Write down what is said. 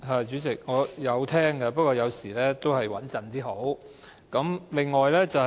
主席，我有聽的，不過有時候再穩妥點較好。